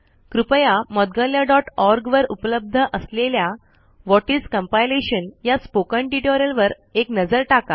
कृपया moudgalyaओआरजी वर उपलब्ध असलेल्या व्हॉट इस कंपायलेशन या स्पोकन ट्यूटोरियल वर एक नजर टाका